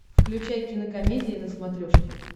включай кинокомедия на смотрешке